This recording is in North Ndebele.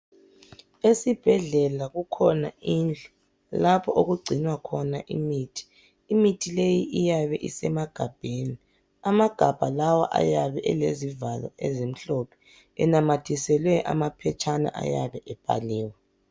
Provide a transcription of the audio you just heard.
Esibhedlela kukhona indlu lapho okugcinwa khona imithi imithi leyi iyabe isemagabheni amagabha lawa ayabe elezivalo elimhlophe enamathiselwe amaphephana ayabe ebhaliwe